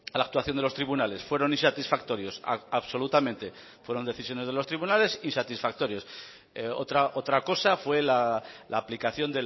la actuación de los tribunales fueron insatisfactorios absolutamente fueron decisiones de los tribunales insatisfactorios otra cosa fue la aplicación